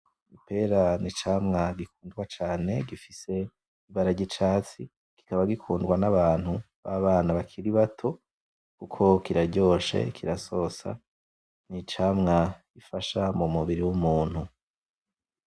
Ipera n'icamwa gikundwa cane gifise ibara ry'icatsi, kikaba gikundwa n'abantu b'abana bakiri bato kuko kiraryoshe kirasosa, n'icamwa gifasha mumubiri w'umuntu.